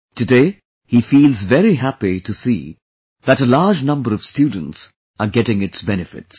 Today he feels very happy to see that a large number of students are getting its benefits